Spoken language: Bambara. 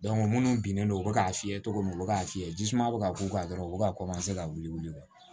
minnu binnen don u bɛ k'a fiyɛ cogo min na u bɛ k'a fiyɛ jisuman bɛ ka k'u kan dɔrɔn u bɛ ka ka wuli